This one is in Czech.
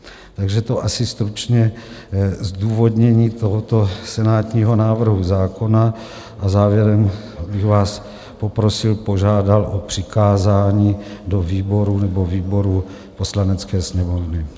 Takže to asi stručně zdůvodnění tohoto senátního návrhu zákona a závěrem bych vás poprosil, požádal o přikázání do výborů nebo výboru Poslanecké sněmovny.